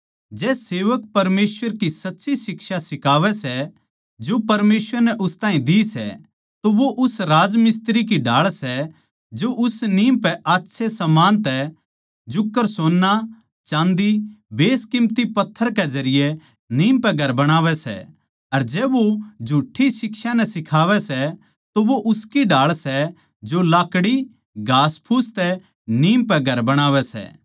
जै सेवक परमेसवर की सच्ची शिक्षा सिखावै सै जो परमेसवर नै उस ताहीं दी सै तो वो उस राज मिस्त्री की ढाळ सै जो उस नीम पै अच्छे समान तै जुकर सोन्ना चाँदी बेसकिमती पत्थर के जरिये नीम पै घर बणावै सै अर जै वो झूठ्ठी शिक्षा नै सिखावै सै तो वो उसकी ढाळ सै जो लाकड़ी घासफूस तै नीम पै घर बणावै सै